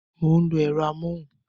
Mo ń lo ẹ̀rọ amóhùn